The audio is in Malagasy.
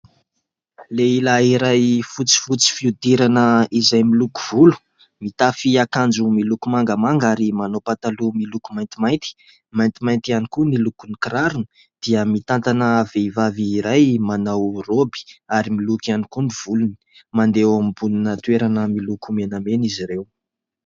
Lehilahy iray fotsifotsy fihodirana izay miloko volo, mitafy akanjo miloko mangamanga ary manao pataloha miloko maintimainty, maintimainty ihany koa ny lokon'ny kirarony, dia mitantana vehivavy iray manao" robe" ary miloko ihany koa ny volony ; mandeha eo ambonina toerana miloko menamena izy ireo.